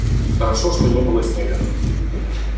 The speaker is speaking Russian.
хорошо что не было снега